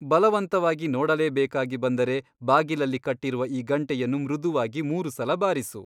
ಬಲವಂತವಾಗಿ ನೋಡಲೇಬೇಕಾಗಿ ಬಂದರೆ ಬಾಗಿಲಲ್ಲಿ ಕಟ್ಟಿರುವ ಈ ಗಂಟೆಯನ್ನು ಮೃದುವಾಗಿ ಮೂರು ಸಲ ಬಾರಿಸು.